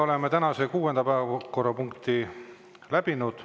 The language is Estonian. Oleme tänase kuuenda päevakorrapunkti läbinud.